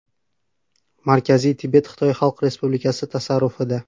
Markaziy Tibet Xitoy Xalq Respublikasi tasarrufida.